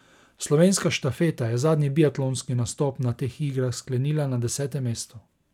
Slovenska štafeta je zadnji biatlonski nastop na teh igrah sklenila na desetem mestu.